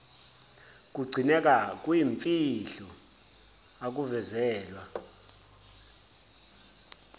kugcineka kuyimfihlo akuvezelwa